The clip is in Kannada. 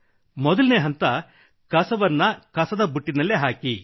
ಮೊದಲ ಹಂತ ಕಸವನ್ನು ಕಸದ ಬುಟ್ಟಿಯಲ್ಲಿಯೇ ಹಾಕಿರಿ